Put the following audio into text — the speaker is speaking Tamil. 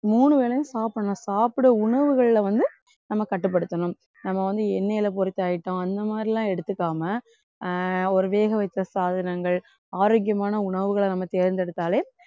மூணு வேளையும் சாப்பிடணும் சாப்பிட உணவுகள்ல வந்து நம்ம கட்டுப்படுத்தணும். நம்ம வந்த எண்ணெயில பொரித்த item அந்த மாதிரி எல்லாம் எடுத்துக்காம அஹ் ஒரு வேக வைத்த சாதனங்கள் ஆரோக்கியமான உணவுகளை நம்ம தேர்ந்தெடுத்தாலே